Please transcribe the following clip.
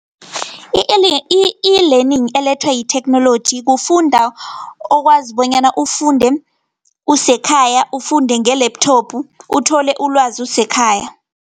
I-e-Learning elethwa yitheknoloji, kufunda okwazi bonyana ufunde usekhaya, ufunde nge-laptop uthole ulwazi usekhaya.